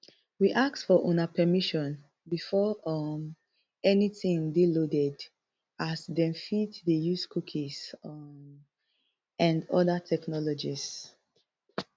we ask for una permission before um anytin dey loaded as dem fit dey use cookies um and oda technologies